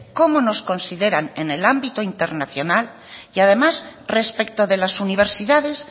cómo nos consideran en el ámbito internacional y además respecto de las universidades